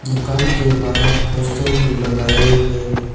दुकान के बाहर पोस्ट भी लगाए हुए हैं।